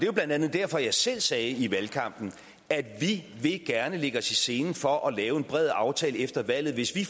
jo blandt andet derfor jeg selv sagde i valgkampen at vi gerne ville lægge os i selen for at lave en bred aftale efter valget hvis vi